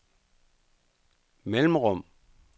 mellemrum